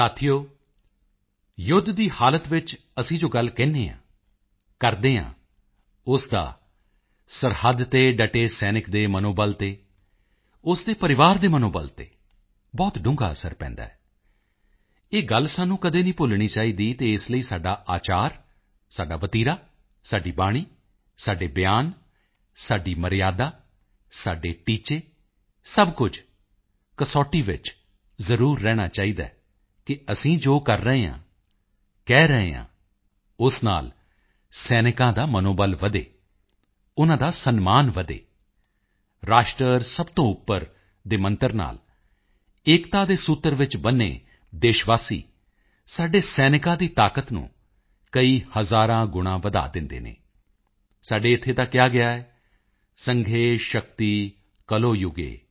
ਸਾਥੀਓ ਯੁੱਧ ਦੀ ਹਾਲਤ ਵਿੱਚ ਅਸੀਂ ਜੋ ਗੱਲ ਕਹਿੰਦੇ ਹਾਂ ਕਰਦੇ ਹਾਂ ਉਸ ਦਾ ਸਰਹੱਦ ਤੇ ਡਟੇ ਸੈਨਿਕ ਦੇ ਮਨੋਬਲ ਤੇ ਉਸ ਦੇ ਪਰਿਵਾਰ ਦੇ ਮਨੋਬਲ ਤੇ ਬਹੁਤ ਡੂੰਘਾ ਅਸਰ ਪੈਂਦਾ ਹੈ ਇਹ ਗੱਲ ਸਾਨੂੰ ਕਦੇ ਨਹੀਂ ਭੁੱਲਣੀ ਚਾਹੀਦੀ ਅਤੇ ਇਸ ਲਈ ਸਾਡਾ ਆਚਾਰ ਸਾਡਾ ਵਤੀਰਾ ਸਾਡੀ ਵਾਣੀ ਸਾਡੇ ਬਿਆਨ ਸਾਡੀ ਮਰਿਯਾਦਾ ਸਾਡੇ ਟੀਚੇ ਸਭ ਕੁਝ ਕਸੌਟੀ ਵਿੱਚ ਜ਼ਰੂਰ ਰਹਿਣਾ ਚਾਹੀਦਾ ਹੈ ਕਿ ਅਸੀਂ ਜੋ ਕਰ ਰਹੇ ਹਾਂ ਕਹਿ ਰਹੇ ਹਾਂ ਉਸ ਨਾਲ ਸੈਨਿਕਾਂ ਦਾ ਮਨੋਬਲ ਵਧੇ ਉਨ੍ਹਾਂ ਦਾ ਸਨਮਾਨ ਵਧੇ ਰਾਸ਼ਟਰ ਸਭ ਤੋਂ ਉੱਪਰ ਦੇ ਮੰਤਰ ਨਾਲ ਏਕਤਾ ਦੇ ਸੂਤਰ ਵਿੱਚ ਬੰਨ੍ਹੇ ਦੇਸ਼ ਵਾਸੀ ਸਾਡੇ ਸੈਨਿਕਾਂ ਦੀ ਤਾਕਤ ਨੂੰ ਕਈ ਹਜ਼ਾਰ ਗੁਣਾਂ ਵਧਾ ਦਿੰਦੇ ਹਨ ਸਾਡੇ ਇੱਥੇ ਤਾਂ ਕਿਹਾ ਗਿਆ ਹੈ ਸੰਘੇ ਸ਼ਕਤੀ ਕਲੌ ਯੁਗੇ